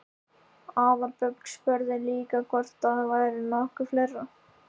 Aðalbjörg spurði líka hvort það væri nokkuð fleira?